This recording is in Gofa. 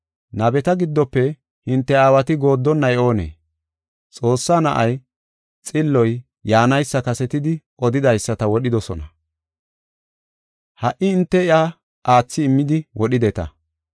Nabeta giddofe hinte aawati gooddonay oonee? Xoossaa Na7ay, Xilloy yaanaysa kasetidi odidaysata wodhidosona. Ha77i hinte iya aathi immidi wodhideta.